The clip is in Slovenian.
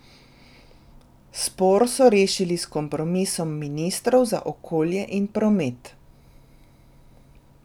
Spor so rešili s kompromisom ministrov za okolje in promet.